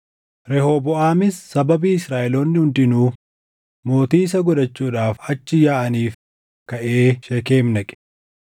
Rehooboʼaamis sababii Israaʼeloonni hundinuu mootii isa gochuudhaaf achi yaaʼaniif kaʼee Sheekem dhaqe.